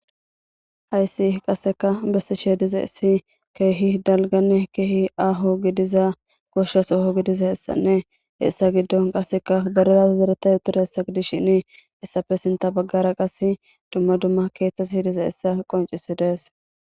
Hayssi qasseka bessishe dizayis issi keehi dalganne keehi aho gidiza goshas soho gidiza hessanne hessa giddon qasseka badalay zeretay utira hessa gidishen heyissafe sinta baggara qas dumma dumma keeththa hiidiza hessa qoncisidees.